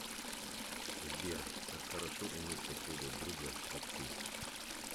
сбер как хорошо иметь такого друга как ты